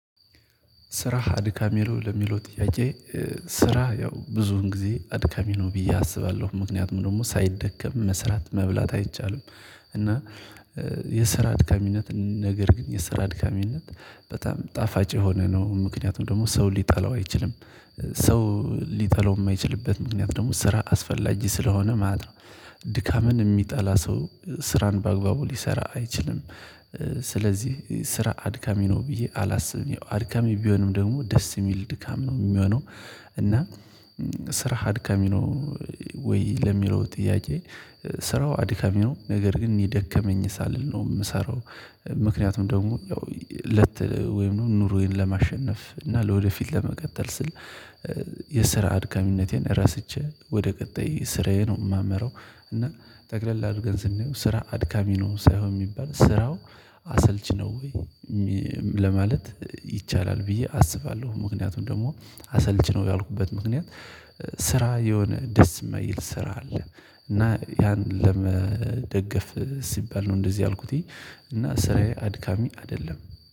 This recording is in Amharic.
ስራህ አድካሚ ነው ለሚለው ጥያቄ ስራ ያው ብዙን ጊዜ አድካሚ ነው ብዬ አስባለሁ። ምክንያቱም ደግሞ ሳይደከም መስራት መብላት አይቻልም። እና የስራ አድካሚነት ነገር ግን የሰራአድካሚነት በጣም ጣፋጭ የሆነ ነው። ምክንያቱም ደግሞ ሰው ሊጠላው አይችልም። ሰው ሊጠላው የማይችልበት ምክንያት ደግሞ ስራ አስፈላጅ ስለሆነ ማለት ነው። ድካምን የሚጠላ ሰው ስራን በአግባቡ ሊሰራ አይችልም። ስለዚህ ስራ አድካሚ ነው ብዬ አላስብም ያው አድካሚ ቢሆንም ደግሞ ደስ የሚል ድካም ነው የሚሆነው። እና ስራ አድካሚ ነው ወይ ለሚለው ጥያቄ ስራው አድካሚ ነው ነገር ግን የደከመኝ ሳልል ነው የምሰራው። ምክንያቱም ደግሞ ያው ለት ወይም ኑሮዬን ለማሸነፍ እና ለወደፊት ለመቀጠል ስል የስራ አድካሚነቴን ረስቼ ወደ ቀጣይ ስራዬ ነው የማመራው። እና ጠቅለል አድርገን ስንሄው ስራ አድካሚ ነው ሳይሆን የሚባል ስራው አሰልች ነው ወይ ለማለት ይቻላል ብዬ አስባለሁ። ምክንያቱን ደግሞ አሰልችነው ያልኩበት ምክንያት ስራ የሆነ ደስ የማይል ስራ አለ። እና ያን ለመደገፍ ሲባል ነው እንደዚህ ያልኩት እና ስራዬ አድካሚ አይደለም።